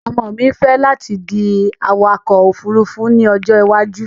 Ọmọ mi fẹ́ láti di awakọ̀-òfurufú ní ọjọ́ ìwájú